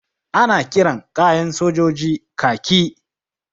Ana kiran kayan sojoji kaki.